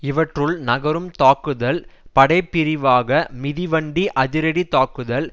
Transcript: இவற்றுள் நகரும் தாக்குதல் படைப்பிரிவாக மிதிவண்டி அதிரடி தாக்குதல்